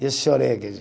Eu chorei aquele